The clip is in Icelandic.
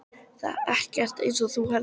Það er ekkert eins og þú heldur.